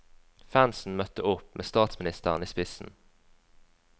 Fansen møtte opp, med statsministeren i spissen.